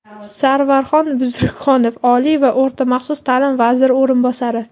Sarvarxon Buzrukxonov — oliy va o‘rta maxsus taʼlim vaziri o‘rinbosari;.